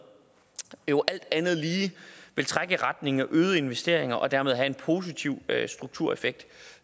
jo alt andet lige vil trække i retning af øgede investeringer og dermed have en positiv struktureffekt